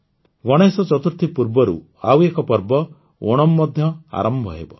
ଗଣେଶ ଚତୁର୍ଥୀ ପୂର୍ବରୁ ଆଉ ଏକ ପର୍ବ ଓଣମ୍ ମଧ୍ୟ ଆରମ୍ଭ ହେବ